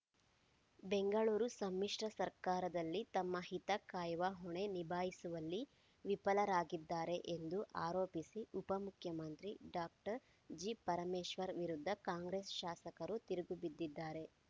ಬೆಂಗಳೂರು ಸಮ್ಮಿಶ್ರ ಸರ್ಕಾರದಲ್ಲಿ ತಮ್ಮ ಹಿತ ಕಾಯುವ ಹೊಣೆ ನಿಭಾಯಿಸುವಲ್ಲಿ ವಿಫಲರಾಗಿದ್ದಾರೆ ಎಂದು ಆರೋಪಿಸಿ ಉಪ ಮುಖ್ಯಮಂತ್ರಿ ಡಾಕ್ಟರ್ ಜಿ ಪರಮೇಶ್ವರ್‌ ವಿರುದ್ಧ ಕಾಂಗ್ರೆಸ್‌ ಶಾಸಕರು ತಿರುಗಿಬಿದ್ದಿದ್ದಾರೆ